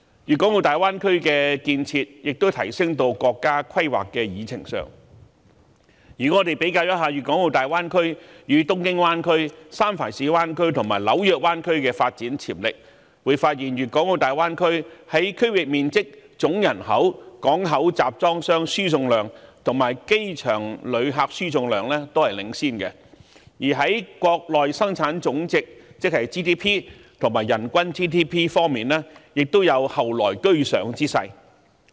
粵港澳大灣區的建設亦已提升至國家規劃的議程上，如果我們比較粵港澳大灣區、東京灣區、三藩市灣區及紐約灣區的發展潛力，便會發現粵港澳大灣區在區域面積、總人口、港口集裝箱輸送量及機場旅客輸送量均領先；而在國內生產總值及人均 GDP 方面，亦有後來居上之勢。